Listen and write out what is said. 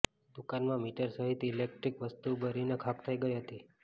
દુકાનમાં મીટર સહીત ઈલેટીક વસ્તુ બરીને ખાખ થઇ ગઈ હતી